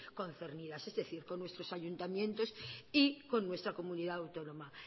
concernidas es decir con nuestros ayuntamientos y con nuestra comunidad autónoma